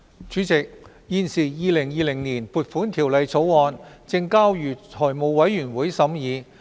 主席，《2020年撥款條例草案》現正交由財務委員會審議。